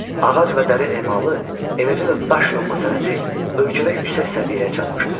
Ağac və dəri emalı, eləcə də daşyonma sənəti ölkədə yüksək səviyyəyə çatmışdı.